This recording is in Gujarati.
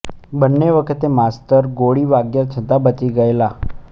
બન્ને વખતે માસ્તર ગોળી વાગ્યા છતાં બચી ગયેલા